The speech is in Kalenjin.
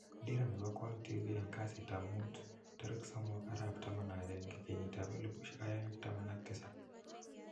Dira nepo kwang tv eng kasit ap mut 03/11/2017